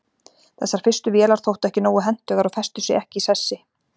þessar fyrstu vélar þóttu ekki nógu hentugar og festu sig ekki í sessi